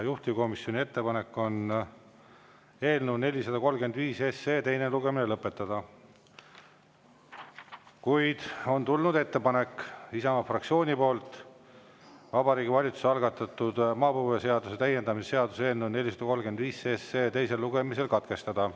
Juhtivkomisjoni ettepanek on eelnõu 435 teine lugemine lõpetada, kuid Isamaa fraktsioonilt on tulnud ettepanek Vabariigi Valitsuse algatatud maapõueseaduse täiendamise seaduse eelnõu 435 teine lugemine katkestada.